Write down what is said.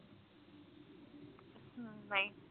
ਨਹੀਂ